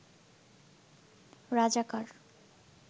রাজাকার